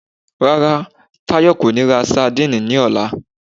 Rárá, Táyọ̀ kò ní ra sandíìnì ní ọ̀la